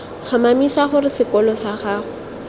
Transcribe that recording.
tlhomamisa gore sekolo sag ago